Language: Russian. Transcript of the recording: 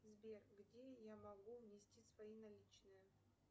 сбер где я могу внести свои наличные